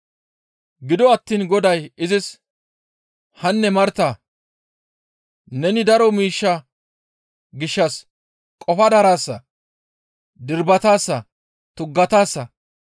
Gido attiin Goday izis, «Hanne Martaa! Neni daro miishsha gishshas qofa daraasa; dirbataasa; tuggataasa.